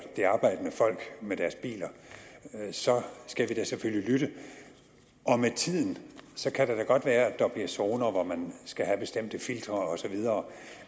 det arbejdende folk med biler så skal vi da selvfølgelig lytte med tiden kan det da godt være at der bliver zoner hvor man skal have bestemte filtre og så videre